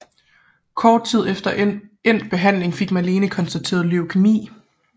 Kort tid efter endt behandling fik Malene konstateret leukæmi